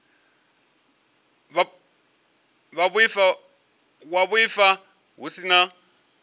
wa vhuaifa hu si na